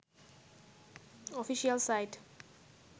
official site